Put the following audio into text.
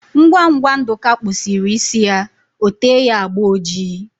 Ngwa ngwa Nduka kpusiri isi ya, ote ya agba ojii